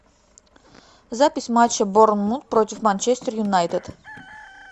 запись матча борнмут против манчестер юнайтед